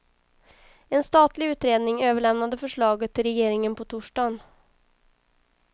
En statlig utredning överlämnade förslaget till regeringen på torsdagen.